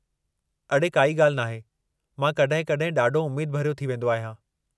अड़े, काई ॻाल्हि नाहे! मां कॾहिं कॾहिं ॾाढो उमेद भरियो थी वेंदो आहियां।